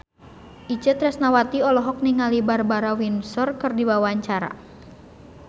Itje Tresnawati olohok ningali Barbara Windsor keur diwawancara